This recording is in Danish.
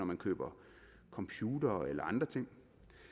man køber computere eller andre ting